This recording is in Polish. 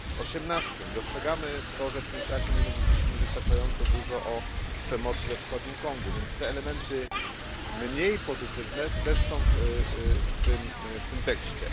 18. Dostrzegamy to, że w Kinszasie nie mówiliśmy wystarczająco dużo o przemocy we wschodnim Kongu, więc elementy mniej pozytywne też znalazły się w tym tekście.